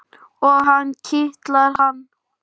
Og kitla hana.